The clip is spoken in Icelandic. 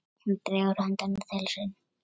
Hún dregur höndina til sín.